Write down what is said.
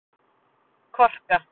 Korka